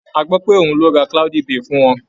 A gbọ́ pé òun ló ra cloudy bay fún wọn.